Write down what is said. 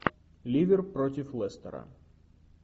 ливер против лестера